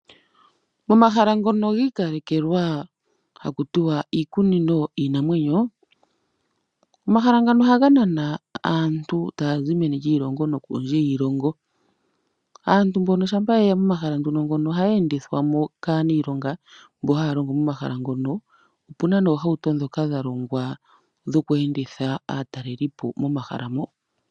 Omahala ngono gi ikalekelwa haku tiwa iikunino yiinamwenyo. Omahala ngano ohaga nana aantu taya zi meni lyiilongo nokondje yiilongo, aantu mbono shampa yeya pomahala nduno ngono ohaye endithwamo kaanilongo mbono haya longo momahala ngono opuna noohawuto ndhoka dha longwa dhoku enditha aatalelipo momahala mo.